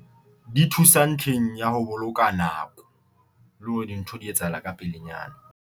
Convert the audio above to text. Di thusa ntlheng ya ho boloka nako le hore dintho di etsahala ka pelenyana.